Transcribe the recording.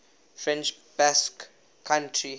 french basque country